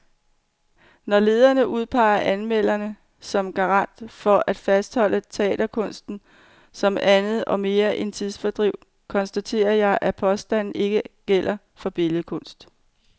Når lederen udpeger anmelderen som garant for at fastholde teaterkunsten som andet og mere end tidsfordriv, konstaterer jeg, at påstanden ikke gælder for billedkunst.